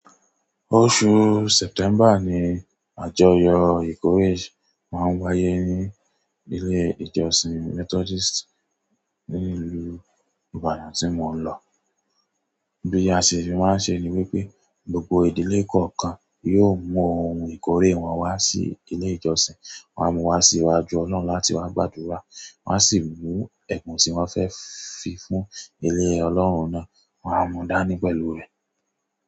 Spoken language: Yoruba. Oṣù September ni àjọyọ̀ ìkórè máa ń wáyé ní ilé ìjọsìn Methodist ní ìlú Ibadan tí mo ń lọ. Bí a sì ṣe máa ń ṣe ẹ ni wípé, gbogbo ìdílé kọ̀ọ̀kan yóò mú ohun ìkórè wọn wá sí ilé ìjọsìn wọ́n a mú wá sí iwájú Olorun láti wá gbàdúrà, wọ́n a sì mú ẹ̀bùn tí wọ́n fẹ́ fi fún ilé Olorun náà wọ́n a mú dání pẹ̀lú rẹ̀.